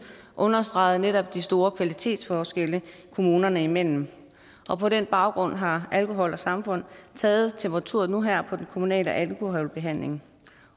understregede netop de store kvalitetsforskelle kommunerne imellem på den baggrund har alkohol samfund taget temperaturen nu her på den kommunale alkoholbehandling